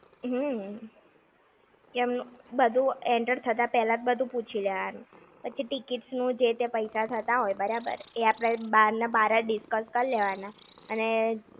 હમ્મ. બધું enter થતા પેલા જ બધું પૂછી લેવાનું. પછી tickets નું જે તે પૈસા થતા હોય બરાબર, એ આપણે બાર ના બાર જ discuss કરી લેવાના અને